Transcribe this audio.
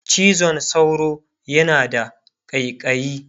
cizon sauro yana da ƙaiƙayi